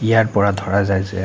ইয়াৰ পৰা ধৰা যায় যে--